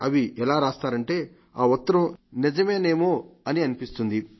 అవి ఎలా రాస్తారంటే ఆ ఉత్తరం నిజమోనేమో అనిపిస్తుంది